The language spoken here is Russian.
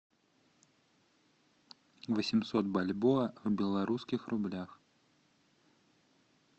восемьсот бальбоа в белорусских рублях